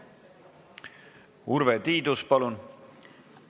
Urve Tiidus, palun!